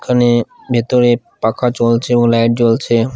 এখানে ভেতরে পাখা চলছে ও লাইট জ্বলছে ।